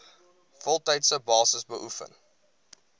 voltydse basis beoefen